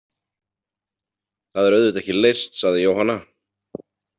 Það er auðvitað ekki leyst, sagði Jóhanna.